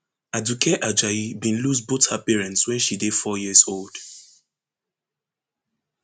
aduke ajayi bin lose both her parents wen she dey four years old